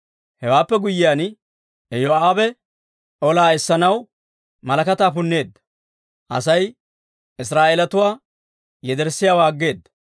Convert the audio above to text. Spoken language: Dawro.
Hewaappe guyyiyaan, Iyoo'aabe olaa essanaw malakataa punneedda; Asay Israa'eelatuwaa yederssiyaawaa aggeeda.